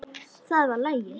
Það var lagið.